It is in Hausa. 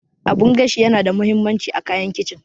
Abun gashi yana da mahimmanci a kayan kicin